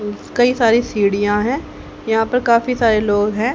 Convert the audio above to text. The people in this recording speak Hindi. कई सारी सीढ़ियां है यहां पर काफी सारे लोग हैं।